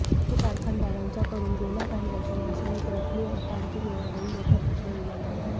साखर कारखानदारांच्याकडून गेल्या काही वर्षांपासून एक रकमी एफआरपी मिळण्यावरून मोठा प्रश्न निर्माण झाला आहे